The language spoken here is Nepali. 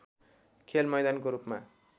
खेलमैदानको रूपमा